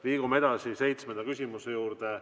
Liigume edasi seitsmenda küsimuse juurde.